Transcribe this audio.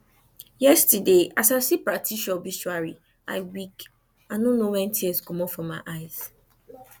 yesterday as i see patricia obituary i weak i no know when tears comot for my eyes